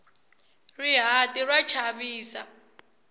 rihati ra chavisa